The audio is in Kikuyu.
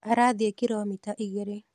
Arathiĩkiromita igĩrĩ.